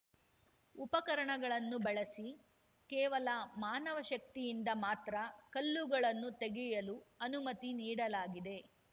ಉಪಕರಣಗಳನ್ನು ಬಳಸಿ ಕೇವಲ ಮಾನವ ಶಕ್ತಿಯಿಂದ ಮಾತ್ರ ಕಲ್ಲುಗಳನ್ನು ತೆಗೆಯಲು ಅನುಮತಿ ನೀಡಲಾಗಿದೆ